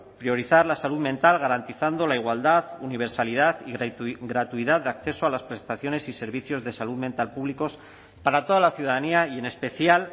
priorizar la salud mental garantizando la igualdad universalidad y gratuidad de acceso a las prestaciones y servicios de salud mental públicos para toda la ciudadanía y en especial